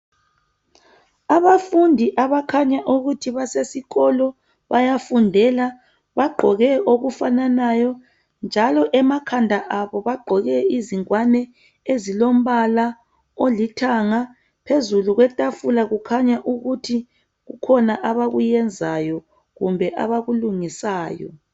Abafundi abakhanya ukuthi basesikolo bayafundela bagqoke okufananayo njalo emakhanda abo bagqoke izingwane ezilombala olithanga. Phezulu kwetafula kukhanya ukuthi kukhona abakuyenzayo kumbe abakulungisayo.